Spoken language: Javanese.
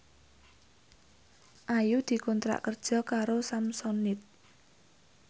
Ayu dikontrak kerja karo Samsonite